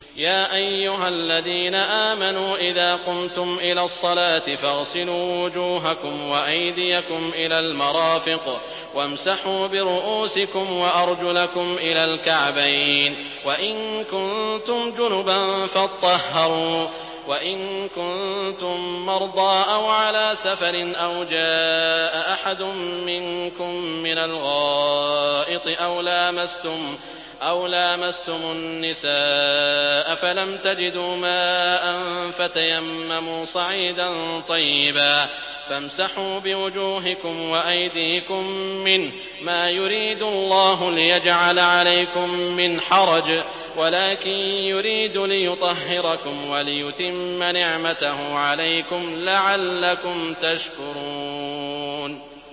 يَا أَيُّهَا الَّذِينَ آمَنُوا إِذَا قُمْتُمْ إِلَى الصَّلَاةِ فَاغْسِلُوا وُجُوهَكُمْ وَأَيْدِيَكُمْ إِلَى الْمَرَافِقِ وَامْسَحُوا بِرُءُوسِكُمْ وَأَرْجُلَكُمْ إِلَى الْكَعْبَيْنِ ۚ وَإِن كُنتُمْ جُنُبًا فَاطَّهَّرُوا ۚ وَإِن كُنتُم مَّرْضَىٰ أَوْ عَلَىٰ سَفَرٍ أَوْ جَاءَ أَحَدٌ مِّنكُم مِّنَ الْغَائِطِ أَوْ لَامَسْتُمُ النِّسَاءَ فَلَمْ تَجِدُوا مَاءً فَتَيَمَّمُوا صَعِيدًا طَيِّبًا فَامْسَحُوا بِوُجُوهِكُمْ وَأَيْدِيكُم مِّنْهُ ۚ مَا يُرِيدُ اللَّهُ لِيَجْعَلَ عَلَيْكُم مِّنْ حَرَجٍ وَلَٰكِن يُرِيدُ لِيُطَهِّرَكُمْ وَلِيُتِمَّ نِعْمَتَهُ عَلَيْكُمْ لَعَلَّكُمْ تَشْكُرُونَ